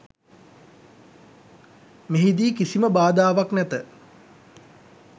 මෙහිදී කිසිම බාධාවක් නැත.